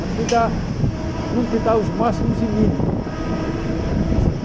Mas não te dá não te dá os máximos e mínimos da velocidade.